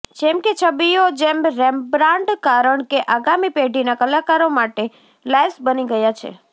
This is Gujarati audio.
જેમ કે છબીઓ જેમ રેમ્બ્રાન્ડ કારણ કે આગામી પેઢીના કલાકારો માટે લાઈવ્સ બની ગયા છે